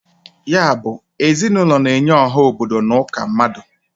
Ya bụ, ezinụlọ na-enye ọha obodo n' ụka mmadụ.